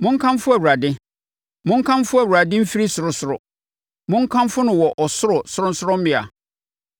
Monkamfo Awurade! Monkamfo Awurade mfiri ɔsorosoro, monkamfo no wɔ ɔsoro sorɔnsorɔmmea.